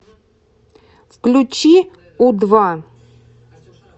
включи у два